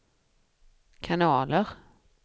kanaler